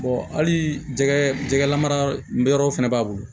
hali jɛgɛ lamarayɔrɔw fɛnɛ b'a bolo